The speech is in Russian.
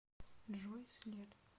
джой след